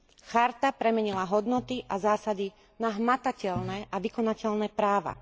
Charta premenila hodnoty a zásady na hmatateľné a vykonateľné práva.